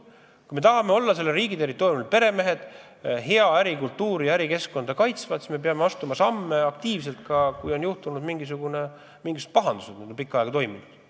Kui me tahame olla selle riigi territooriumil peremehed, kes kaitsevad head ärikultuuri ja head ärikeskkonda, siis me peame astuma aktiivselt samme, kui on juhtunud mingisugused pahandused, mis on pikka aega kestnud.